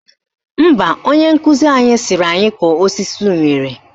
Mba, onye nkụzi anyị sịrị anyị kọọ osisi unere